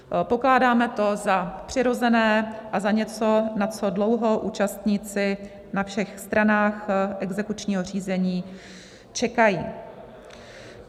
Pokládáme to za přirozené a za něco, na co dlouho účastníci na všech stranách exekučního řízení čekají.